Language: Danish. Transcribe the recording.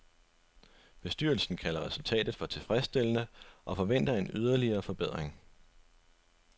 Bestyrelsen kalder resultatet for tilfredsstillende og forventer en yderligere forbedring.